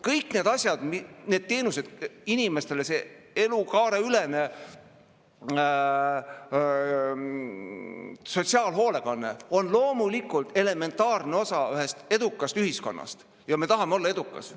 Kõik need asjad, need teenused, see elukaareülene sotsiaalhoolekanne on loomulikult elementaarne osa edukast ühiskonnast ja me tahame olla edukad.